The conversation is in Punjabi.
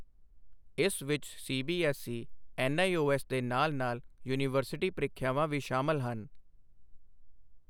ਇਸ ਵਿੱਚ ਸੀਬੀਐੱਸਈ, ਐੱਨਆਈਓਐੱਸ ਦੇ ਨਾਲ ਨਾਲ ਯੂਨੀਵਰਸਿਟੀ ਪਰੀਖਿਆਵਾਂ ਵੀ ਸ਼ਾਮਲ ਹਨ।